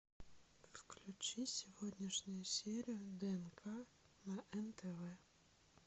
включи сегодняшнюю серию днк на нтв